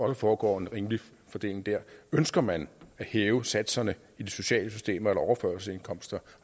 der foregår en rimelig fordeling der ønsker man at hæve satserne i det sociale system for overførselsindkomster